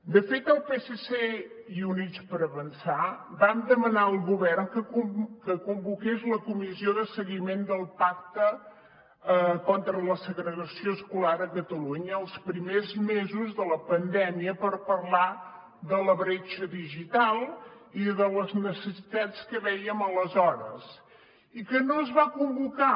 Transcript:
de fet el psc i units per avançar vam demanar al govern que convoqués la comissió de seguiment del pacte contra la segregació escolar a catalunya els primers mesos de la pandèmia per parlar de la bretxa digital i de les necessitats que vèiem aleshores i que no es va convocar